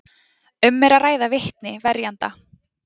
Um er að ræða vitni verjenda